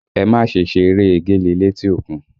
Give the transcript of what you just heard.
Ẹ má ṣe ṣe eré egéle létí òkun!